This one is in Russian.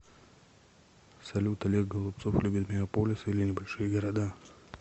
салют олег голубцов любит мегаполисы или небольшие города